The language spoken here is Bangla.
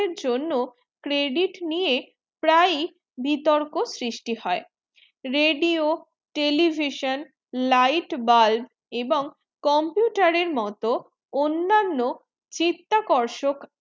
জন্য credit নিয়ে প্রায় বিতর্ক সৃষ্টি হয়ে radio television light bulb এবং computer এর মতো অন্নান্ন চিত্ত কোর্সকে